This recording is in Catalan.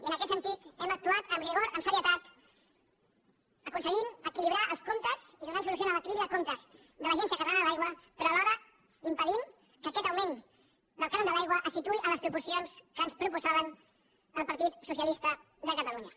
i en aquest sentit hem actuat amb rigor amb serietat aconseguint equilibrar els comptes i donant solució a l’equilibri de comptes de l’agència catalana de l’aigua però alhora impedint que aquest augment del cànon de l’aigua se situï en les proporcions que ens proposava el partit socialista de catalunya